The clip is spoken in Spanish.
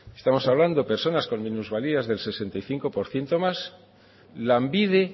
estamos hablando personas con minusvalías del sesenta y cinco por ciento o más lanbide